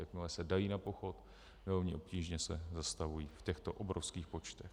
Jakmile se dají na pochod, velmi obtížně se zastavují v těchto obrovských počtech.